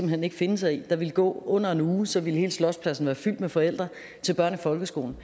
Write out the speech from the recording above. hen ikke finde sig i der ville gå under en uge og så ville hele slotspladsen være fyldt med forældre til børn i folkeskolen